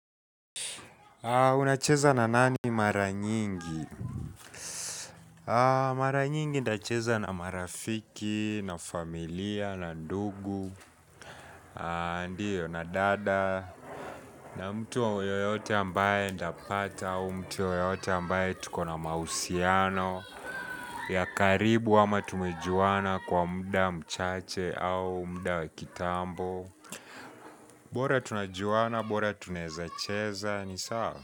Unacheza na nani mara nyingi? Mara nyingi ndacheza na marafiki, na familia, na ndugu, na dada, na mtu wa yoyote ambaye nitapata au mtu yoyote ambaye tukona mausiano, ya karibu ama tumejuana kwa mda mchache au mda wakitambo. Bora tunajuana, bora tunezacheza ni saa.